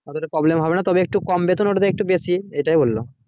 অতটাও problem হবে না তবে একটু কম বেতন উঠবে একটু বেশি এটাই বললো